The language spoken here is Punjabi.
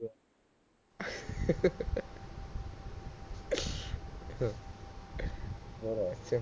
ਹੋਰ